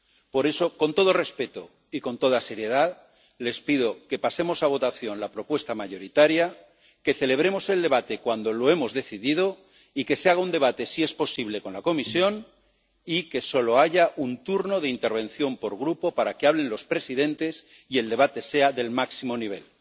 Por eso, con todo respeto y con toda seriedad, les pido que pasemos a votación la propuesta mayoritaria, que celebremos el debate cuando lo hemos decidido y que se haga un debate, si es posible con la Comisión, y que solo haya un turno de intervención por grupo para que hablen los presidentes y el debate sea del máximo nivel.